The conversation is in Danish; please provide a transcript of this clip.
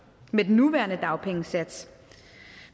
med den nuværende dagpengesats